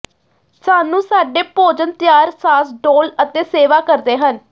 ਸਾਨੂੰ ਸਾਡੇ ਭੋਜਨ ਤਿਆਰ ਸਾਸ ਡੋਲ੍ਹ ਅਤੇ ਸੇਵਾ ਕਰਦੇ ਹਨ